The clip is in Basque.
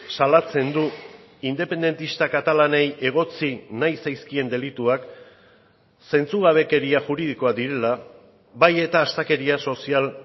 salatzen du independentista katalanei egotzi nahi zaizkien delituak zentzugabekeria juridikoak direla bai eta astakeria sozial